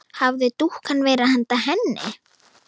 Hafði dúkkan verið handa henni?